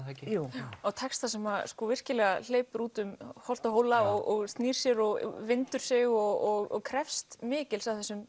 það ekki jú og textar sem virkilega hleypa út um holt og hóla og snýr sig og vindur sig og krefst mikils af þessum